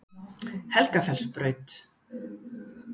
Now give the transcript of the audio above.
Helgafellsbraut